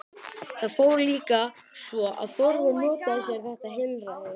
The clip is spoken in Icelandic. Það fór líka svo að Þórður notaði sér þetta heilræði.